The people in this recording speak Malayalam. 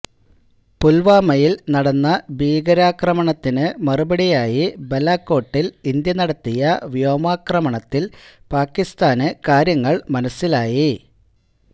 പുല്വാമയില് നടന്ന ഭീകരാക്രമണത്തിന് മറുപടിയായി ബലാകോട്ടില് ഇന്ത്യ നടത്തിയ വ്യോമാക്രണത്തില് പാക്കിസ്ഥാന് കാര്യങ്ങള് മനസ്സിലായി